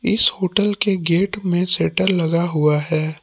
इस होटल के गेट में शटर लगा हुआ है।